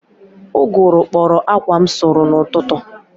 Ụgụrụ kpọrọ akwa m sụrụ n'ụtụtụ